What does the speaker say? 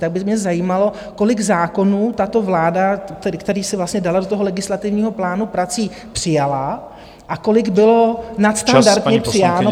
Tak by mě zajímalo, kolik zákonů tato vláda, které si vlastně dala do toho legislativního plánu prací, přijala a kolik bylo nadstandardně přijato.